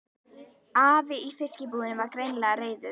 Afi í fiskbúðinni var greinilega reiður.